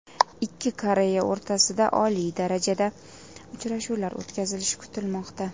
Ikki Koreya o‘rtasida oliy darajada uchrashuvlar o‘tkazilishi kutilmoqda.